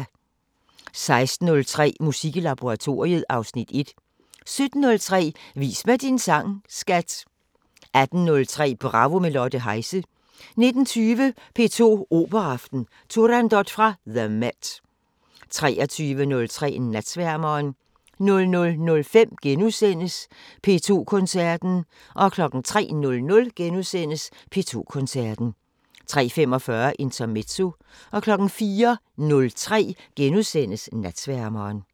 16:03: Musik i laboratoriet (Afs. 1) 17:03: Vis mig din sang, skat! 18:03: Bravo – med Lotte Heise 19:20: P2 Operaaften: Turandot fra The MET 23:03: Natsværmeren 00:05: P2 Koncerten * 03:00: P2 Koncerten * 03:45: Intermezzo 04:03: Natsværmeren *